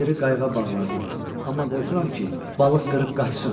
Kəndiri qayıqa bağlardım, amma qorxuram ki, balıq qırıb qaçsın.